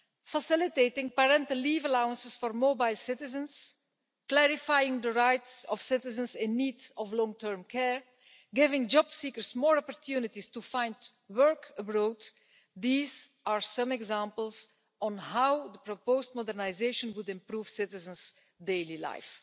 Facilitating parental leave allowances for mobile citizens, clarifying the right of citizens in need of long term care, giving job seekers more opportunities to find work abroad these are some examples on how the proposed modernisation would improve citizens' daily life.